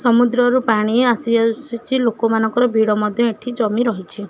ସମୁଦ୍ରରୁ ପାଣି ଆସି ଆସୁଛି ଲୋକମାନଙ୍କର ଭିଡ଼ ମଧ୍ୟ ଏଠି ଜମି ରହିଚି।